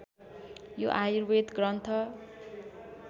यो आयुर्वेद ग्रन्थ